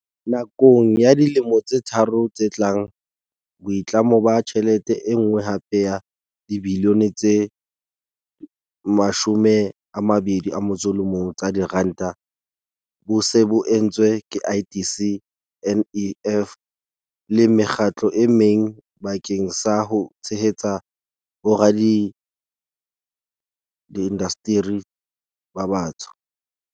Nakong ya dilemo tse tharo tse tlang, boitlamo ba tjhelete e nngwe hape ya dibilione tse 21 tsa diranta bo se bo entswe ke IDC, NEF le mekgatlo e meng bakeng sa ho tshehetsa indasteri ba batsho.